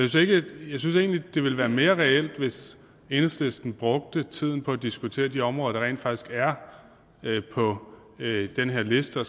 jeg synes egentlig det ville være mere reelt hvis enhedslisten brugte tiden på at diskutere de områder der rent faktisk er på den her liste og